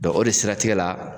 o de siratigɛ la